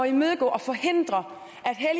imødegå og forhindre